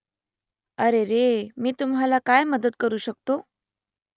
अरेरे मी तुम्हाला काय मदत करू शकतो ?